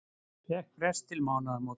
Fékk frest til mánaðamóta